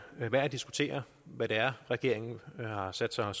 værd at diskutere hvad det er regeringen har sat sig